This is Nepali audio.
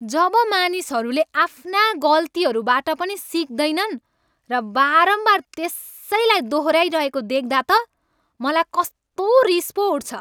जब मानिसहरूले आफ्ना गल्तीहरूबाट पनि सिक्दैनन् र बारम्बार त्यसैलाई दोहोऱ्याइरहेको देख्दा त मलाई कस्तो रिस पो उठ्छ।